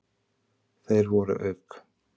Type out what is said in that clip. Þeir voru auk